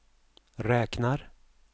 räknar